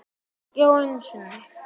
Já, einu sinni.